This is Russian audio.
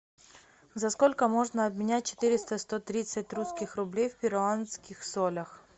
за сколько можно обменять четыреста сто тридцать русских рублей в перуанских солях